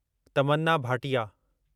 Tamanna Bhatia